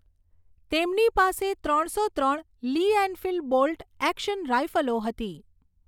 તેમની પાસે ત્રણસો ત્રણ લી એનફિલ્ડ બોલ્ટ એક્શન રાઈફલો હતી.